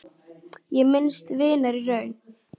Ég minnist vinar í raun.